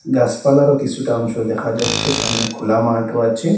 গাসপালারও কিসুটা অংশ দেখা যাচ্ছে সামনে খোলা মাঠও আছে।